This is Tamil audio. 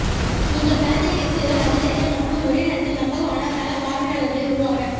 உங்கள் தளத்தை கிளிக் செய்தால் அதிகரிக்க மற்றும் ஒரே நேரத்தில் நம்பகமான தள பார்வையாளர்களை உருவாக்க